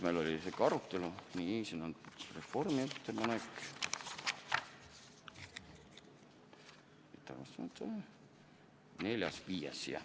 Neljas, viies, jah!